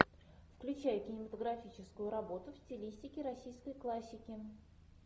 включай кинематографическую работу в стилистике российской классики